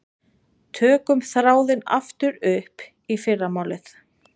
Tökum þráðinn aftur upp í fyrramálið.